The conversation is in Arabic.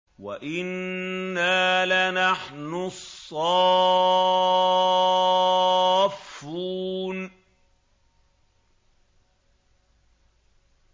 وَإِنَّا لَنَحْنُ الصَّافُّونَ